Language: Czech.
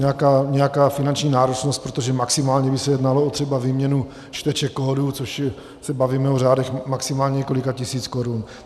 nějaká finanční náročnost, protože maximálně by se jednalo o třeba výměnu čteček kódů, což se bavíme o řádech maximálně několika tisíc korun.